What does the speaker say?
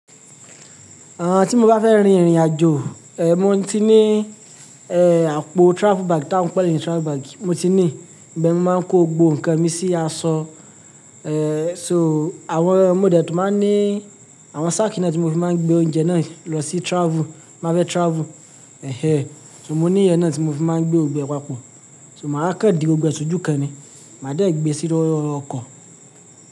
Àn, tí mo bá fẹ́ rin ìrìnàjò, eh, mo ti ní, eh, àpò travel bag tá ń pè ní travel bag, mo ti ní. Ibeẹ́ni mi máa ń kó gbogbo nǹkan mi sí aṣọ. Eh, so àwọn, mo de tó máa ní àwọn sack náà tí mo fi máa ń gbé oúnjẹ náà lọ sí travel, mo bá fẹ́ travel. Ẹ̀hẹ̀, so mo ní ìyẹn náà tí mo fi máa ń gbé gbogbo e papọ̀. So màá kan di gbogbo ẹ ṣojù kan ni. Màá dẹ́ gbé sí lórí ọkọ̀.